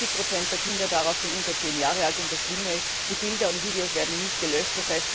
70 der Kinder darauf sind unter zehn Jahre alt, und das Schlimme ist, die Bilder und Videos werden nicht gelöscht.